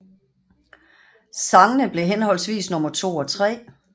Sangene blev henholdsvis nummer 2 og 3